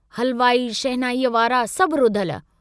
हलवाई, शहनाईअ वारा सभु रुधल।